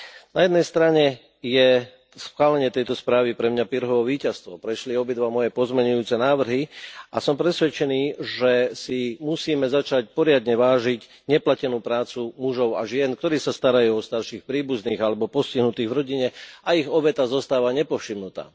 Na jednej strane je schválenie tejto správy pre mňa Pyrrhovo víťazstvo, prešli obidva moje pozmeňujúce návrhy a som presvedčený, že si musíme začať poriadne vážiť neplatenú prácu mužov a žien, ktorí sa starajú o starších príbuzných alebo postihnutých v rodine a ich obeta zostáva nepovšimnutá.